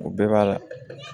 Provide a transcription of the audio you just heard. O bɛɛ b'a la